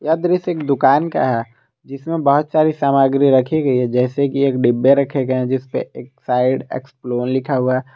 यह दृश्य एक दुकान का है जिसमें बहोत सारी सामग्री रखी गई है जैसे कि एक डब्बे रखे गए हैं जिसपे एक्साइड एक्सप्लेन ।